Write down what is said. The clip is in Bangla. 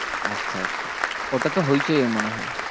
আচ্ছা আচ্ছা, ওটা তো হৈচৈ এর মনে হয়।